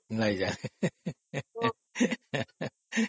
ଜାଣିନାହିଁ ହାଃ ହାଃ ହାଃ